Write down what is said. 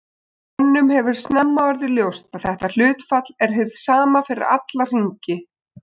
Mönnum hefur snemma orðið ljóst að þetta hlutfall er hið sama fyrir alla hringi.